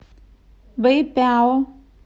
бэйпяо